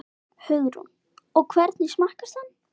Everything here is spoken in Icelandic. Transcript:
Hugrún: Og hvernig smakkast hann?